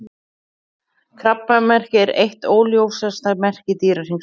Krabbamerkið er eitt óljósasta merki Dýrahringsins.